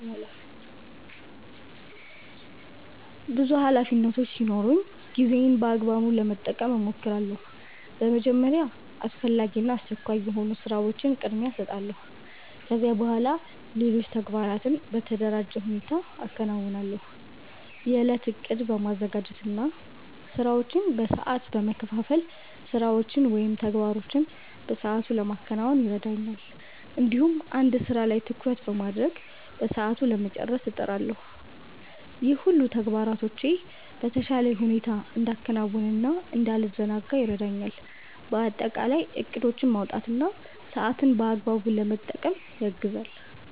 ብዙ ኃላፊነቶች ሲኖሩኝ ጊዜዬን በአግባቡ ለመጠቀም እሞክራለሁ። በመጀመሪያ አስፈላጊ እና አስቸኳይ የሆኑ ስራዎችን ቅድሚያ እሰጣለሁ። ከዚያ በኋላ ሌሎች ተግባራትን በተደራጀ ሁኔታ አከናውናለሁ። የእለት እቅድ በማዘጋጀት እና ስራዎችን በሰዓት በመከፋፈል ስራዎችን ወይም ተግባሮችን በሰአቱ ለማከናወን ይረዳኛል። እንዲሁም አንድ ስራ ላይ ትኩረት በማድረግ በሰዓቱ ለመጨረስ እጥራለሁ። ይህ ሁሉ ተግባራቶቼን በተሻለ ሁኔታ እንዳከናውን እና እንዳልዘናጋ ይረዳኛል። በአጠቃላይ እቅዶችን ማውጣት ሰአትን በአግባቡ ለመጠቀም ያግዛል።